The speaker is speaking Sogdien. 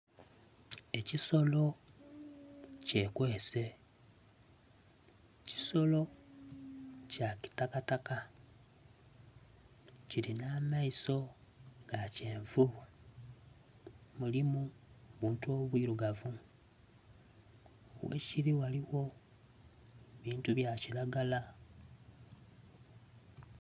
Ekisolo kye kwese, ekisolo kya kitakataka kilinha amaiso ga kyenvu mulimu buntu bwirugavu ghe kili ghaligho ebintu ebya kilagala